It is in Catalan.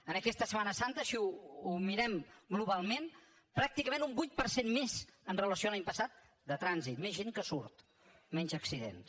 en aquesta setmana santa si ho mirem globalment pràcticament un vuit per cent més amb relació a l’any passat de trànsit més gent que surt menys accidents